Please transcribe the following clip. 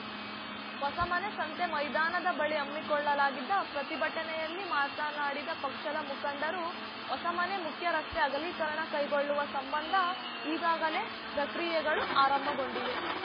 ಹೊಸಮನೆ ಸಂತೆ ಮೈದಾನದ ಬಳಿ ಹಮ್ಮಿಕೊಳ್ಳಲಾಗಿದ್ದ ಪ್ರತಿಭಟನೆಯಲ್ಲಿ ಮಾತನಾಡಿದ ಪಕ್ಷದ ಮುಖಂಡರು ಹೊಸಮನೆ ಮುಖ್ಯ ರಸ್ತೆ ಅಗಲೀಕರಣ ಕೈಗೊಳ್ಳುವ ಸಂಬಂಧ ಈಗಾಗಲೇ ಪ್ರಕ್ರಿಯೆಗಳು ಆರಂಭಗೊಂಡಿವೆ